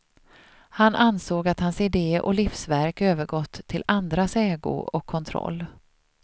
Han ansåg att hans ide och livsverk övergått till andras ägo och kontroll.